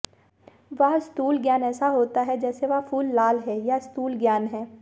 वह स्थूल ज्ञान ऐसा होता है जैसे वह फूल लाल है यह स्थूल ज्ञान है